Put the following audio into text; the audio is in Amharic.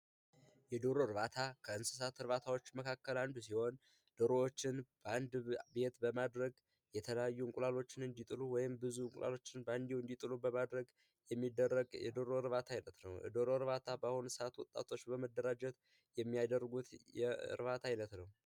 የዶሮ እርባታ ከእንስሳት እርባታዎች መካከል አንዱ ሲሆን፤ ደሮዎችን በአንድ ቤት በማድረግ የተለያዩ እንቁላሎችን እንዲጥሉ ወይም ብዙ እንቁላሎችን እንዲጥሉ በማድረግ የሚደረግ የዶሮ እርባታ አይነት ነው። የዶሮ እርባታ በአሁኑ ሰዓት ወጣቶች በመደራጀት የሚያደርጉት የእርባታ አይነት ነው።